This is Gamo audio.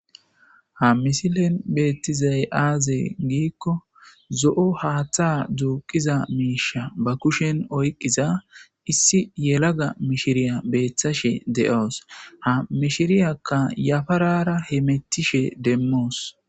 Ha misilen beettizay aaze giikko zo'o haaththa duuqiza miisha ba kushen oyqqiza issi yelaga mishiriya beeththashe de'oos ha mishiriyakka yafarara he mettishe demmoos/